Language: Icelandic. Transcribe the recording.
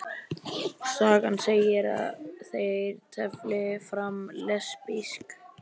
Sagan segir að þeir tefli fram lesbísk